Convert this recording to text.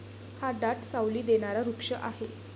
हा दाट साऊली देणारा वृक्ष आहे.